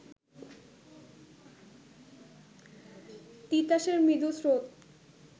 তিতাসের মৃদু স্রোত